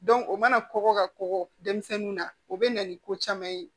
o mana kɔgɔ ka kɔkɔ denmisɛnninw na o bɛ na ni ko caman ye